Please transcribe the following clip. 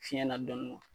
Fiɲɛ na dɔn